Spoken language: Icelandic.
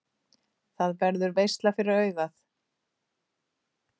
Það verður veisla fyrir augað.